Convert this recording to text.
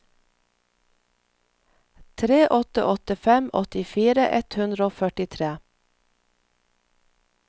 tre åtte åtte fem åttifire ett hundre og førtitre